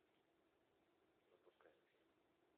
запускаем фильм